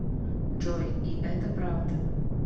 джой и это правда